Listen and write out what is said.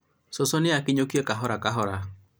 cũcũ akinyũkie kahora kahora